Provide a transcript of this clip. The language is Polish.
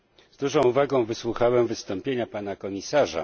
Z dużą uwagą wysłuchałem wystąpienia pana komisarza.